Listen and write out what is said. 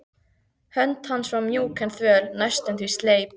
Hönd hans var mjúk en þvöl, næstum því sleip.